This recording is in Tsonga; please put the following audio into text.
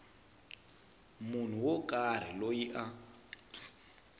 munhu wo karhi loyi a